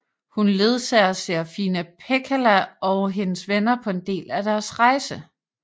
Hun ledsager Serafina Pekkala og hendes venner på en del af deres rejse